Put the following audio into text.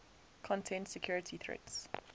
content security threats